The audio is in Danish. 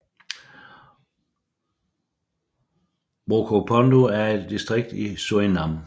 Brokopondo er et distrikt i Surinam